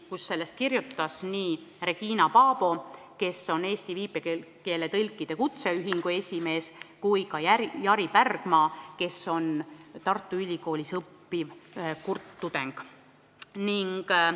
Sellest kirjutasid Regina Paabo, kes on Eesti viipekeeletõlkide kutseühingu esimees, ja ka Jari Pärgma, kes on Tartu Ülikoolis õppiv kurt tudeng.